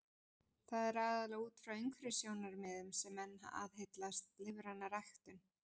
Það er aðallega út frá umhverfissjónarmiðum sem menn aðhyllast lífræna ræktun.